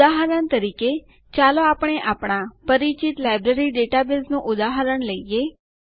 ઉદાહરણ તરીકે ચાલો આપણે આપણા પરિચિત લાઈબ્રેરી ડેટાબેઝનું ઉદાહરણ લઈએ